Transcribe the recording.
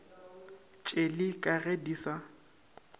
tšeli ka ge di sa